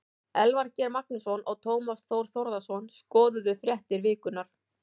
Elvar Geir Magnússon og Tómas Þór Þórðarson skoðuðu fréttir vikunnar.